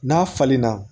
N'a falenna